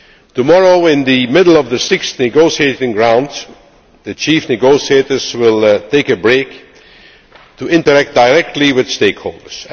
Tomorrow, in the middle of the sixth negotiating round, the chief negotiators will take a break to interact directly with stakeholders.